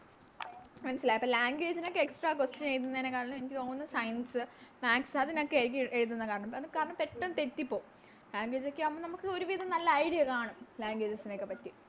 മനസ്സിലായോ അപ്പൊ Language നോക്കെ Extra question എഴുതുന്നേനെക്കാട്ടിലും എനിക്ക് തോന്നുന്നു Science maths അതിനൊക്കെയാരിക്കും എഴുതുന്നെ കാരണം അതെന്ന് വെച്ചാല് പെട്ടന്ന് തെറ്റിപ്പോകും Language ഒക്കെ ആകുമ്പോ നമുക്കൊരുവിതം നല്ല Idea കാണും Languages നെ ഒക്കെ പറ്റി